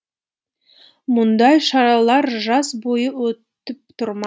мұндай шаралар жаз бойы өтіп тұр ма